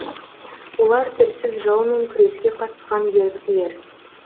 олар тілсіз жаумен күреске қатысқан еріктілер